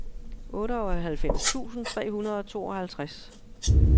otteoghalvfems tusind tre hundrede og tooghalvtreds